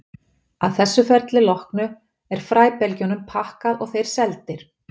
Að þessu ferli loknu er fræbelgjunum pakkað og þeir seldir.